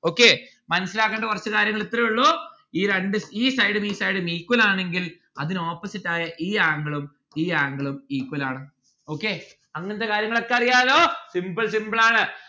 okay മനസ്സിലാക്കണ്ട കൊറച്ചു കാര്യങ്ങൾ ഇത്രേ ഉള്ളൂ ഈ രണ്ട് ഈ side ഉം ഈ side ഉം equal ആണെങ്കിൽ അതിന് opposite ആയ ഈ angle ഉം ഈ angle ഉം equal ആണ്. okay അങ്ങനത്തെ കാര്യങ്ങളൊക്കെ അറിയാലോ? simple simple ആണ്.